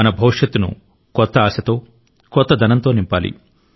మనం భవిష్యత్తును కొత్త ఆశతో కొత్తదనంతో నింపాలి